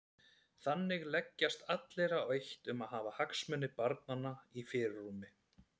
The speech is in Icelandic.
Þannig leggjast allir á eitt um að hafa hagsmuni barnanna í fyrirrúmi.